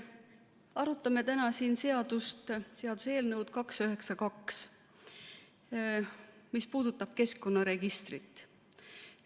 Arutame täna siin seaduseelnõu 292, mis puudutab keskkonnaregistrit.